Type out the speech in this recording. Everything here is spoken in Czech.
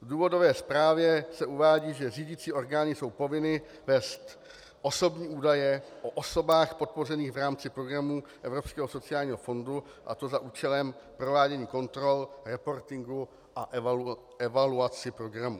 V důvodové zprávě se uvádí, že řídicí orgány jsou povinny vést osobní údaje o osobách podpořených v rámci programu Evropského sociálního fondu, a to za účelem provádění kontrol, reportingu a evaluaci programů.